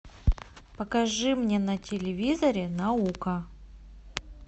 покажи мне на телевизоре наука